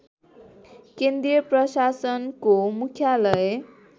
केन्द्रीय प्रशासनको मुख्यालय